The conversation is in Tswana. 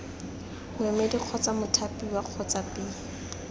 moemedi kgotsa mothapiwa kgotsa b